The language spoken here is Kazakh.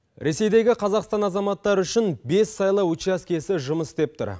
ресейдегі қазақстан азаматтары үшін бес сайлау учаскесі жұмыс істеп тұр